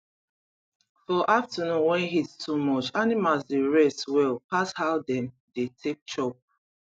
for afternoon wen heat too much animals dey rest well pas how dem dey take chop